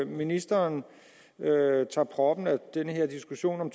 ministeren tager proppen af den her diskussion om